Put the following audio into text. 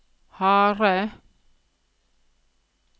harde